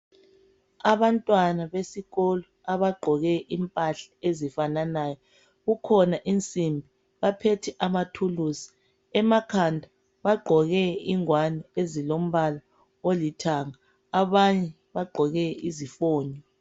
abantwana besikolo abagqoke impahla ezifananayo kukhona insimbi baphethe amathulusi emakhanda bagqoke ingwani ezilombala olithanga abanye bagqoke izifonyo.